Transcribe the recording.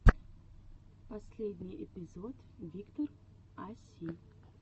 последний эпизод виктор а си